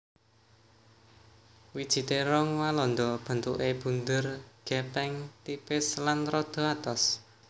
Wiji térong walanda bentuké bunder gèpèng tipis lan rada atos